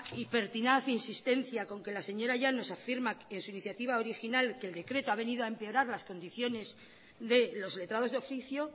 y pertinaz insistencia con que la señora llanos afirma en su iniciativa original que el decreto ha venido a empeorar las condiciones de los letrados de oficio